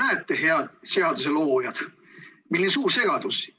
No näete, head seaduseloojad, milline suur segadus!